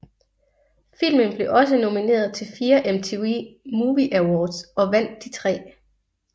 Filmen blev også nomineret til fire MTV Movie Awards og vandt de tre